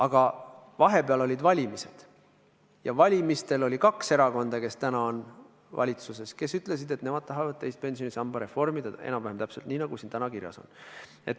Aga vahepeal olid valimised ja valimistel oli kaks erakonda, kes täna on valitsuses, kes ütlesid, et nemad tahavad teise pensionisamba reformida enam-vähem täpselt nii, nagu siin eelnõus kirjas on.